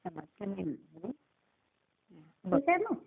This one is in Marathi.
ठीक आहे मग?